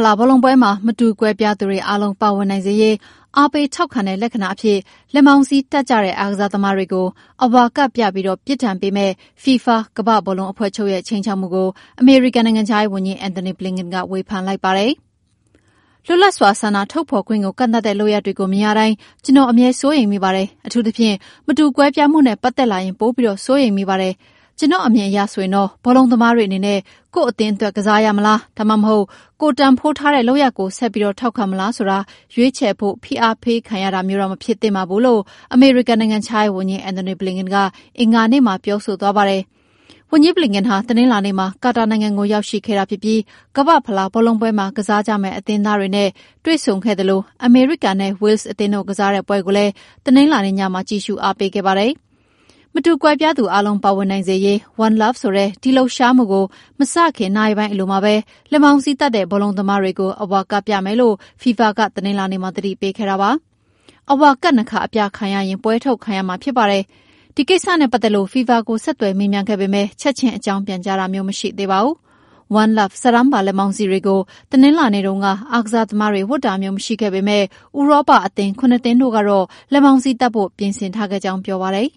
လားဘောလုံးပွဲမှာ မတူကွဲပြားသူတွေအားလုံးပါဝင်နိုင်စေရေး အားပေးထောက်ခံတဲ့လက္ခဏာအဖြစ် လက်မောင်းစည်းတပ်ကြတဲ့ အားကစားသမားတွေကို အဝါကဒ်ပြပြီး ပြစ်ဒဏ်ပေးမယ့် FIFA ကမ္ဘာ့ဘောလုံးအဖွဲ့ချုပ်ရဲ ခြိမ်းခြောက်မှုကို အမေရိကန်နိုင်ငံခြားရေးဝန်ကြီး Antony Blinlen ကဝေဖန်လိုက်ပါတယ်။ “လွတ်လပ်စွာဆန္ဒထုတ်ဖော်ခွင့်ကိုကန့်သတ်တဲ့လုပ်ရပ်တွေမြင်ရတိုင်း ကျနော်အမြဲစိုးရိမ်မိပါတယ်၊ အထူးသဖြင့် မတူကွဲပြားမှုနဲ့ပတ်သက်လာရင်ပိုစိုးရိမ်မိပါတယ်။ ကျနော့်အမြင်အရဆိုရင်တော့ ဘောလုံးသမားတွေအနေနြ့ ကိုယ့် အသင်းအတွက် ကစားရမလားဒါမှမဟုတ် ကိုယ်တန်ဖိုးထားတဲ့လုပ်ရပ်ကို ဆက်ထောက်ခံမလားဆိုတာ ရွေးချယ်ဖို့ဖိအားပေးခံရတာမျိုးတော့ မဖြစ်သင့်ပါဘူး” လို့ အမေရိကန်နိုင်ငံခြားရေးဝန်ကြီး Antony Blinken က အင်္ဂါနေ့မှာ ပြောဆိုသွားတာပါ။ ဝန်ကြီး Blinken ဟာတနင်္လာနေ့မှာ ကာတာနိုင်ငံကိုရောက်ရှိခဲ့တာဖြစ်ပြီး ကမ္ဘာ့ဖလားဘောလုံးပွဲမှာကစားကြမယ့်အသင်းသားတွေနဲ့ တွေ့ဆုံခဲ့သလို အမေရိကန်နဲ့ Wales အသင်းတို့ကစားတဲ့ပွဲကိုလည်း တနင်္လာနေ့ညမှာ ကြည့်ရှုအားပေးခဲ့ပါတယ်။ မတူကွဲပြားသူအားလုံးပါဝင်နိုင်စေရေး“One Love”ဆိုတဲ့ ဒီလှုပ်ရှားမှုကို မစခင်နာရီပိုင်းအလိုမှာပဲ လက်မောင်းစည်းတပ်တဲ့ ဘောလုံးသမားတွေကို အဝါကဒ်ပြမယ်လို့ FIFA ကသတိပေးခဲ့ပါတယ်။ အဝါကဒ်၂ ခါပြခံရရင် ပွဲကထုတ်ခံရမှာဖြစ်ပါတယ်။ ဒီကိစ္စနဲ့ပတ်သက်လို့ FIFA ကိုဆက်သွယ်မေးမြန်းခဲ့ပေမယ့် ချက်ချင်းအကြောင်းပြန်ကြားတာမျိုးမရှိသေးပါဘူး။ One Love စာတန်းပါလက်မောင်းစည်းတွေကို တနင်္လာနေ့တုန်းက အားကစားသမားတွေဝတ်တာမျိုးမရှိခဲ့ပေမယ့် ဥရောပအသင်း ၇ သင်းတို့ကတော့ လက်မောင်းစည်းတပ်ဖို့ ပြင်ဆင်ထားခဲ့ကြောင်း ပြောပါတယ်